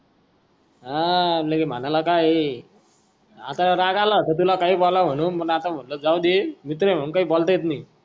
हा म्हणाला काय ये आत्ता राग आला होता तुला काई बोलला म्हणू मंग आता म्हणलं कि जाऊदे मित्र ये म्हणून काई बोलता येत नई